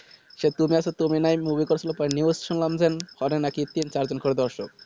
সে তুমি আছো তুমি না হয় movie করছিলে